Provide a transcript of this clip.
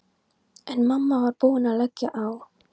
En mamma var búin að leggja á.